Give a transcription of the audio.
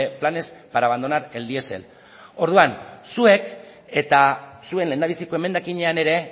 planes para abandonar el diesel orduan zuek eta zuen lehendabiziko emendakinean ere